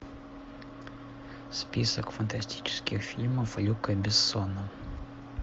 список фантастических фильмов люка бессона